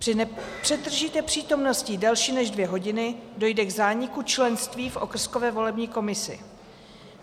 Při nepřetržité přítomnosti delší než dvě hodiny dojde k zániku členství v okrskové volební komisi.